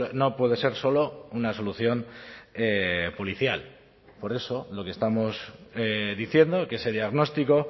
no puede ser solo una solución policial por eso lo que estamos diciendo que ese diagnóstico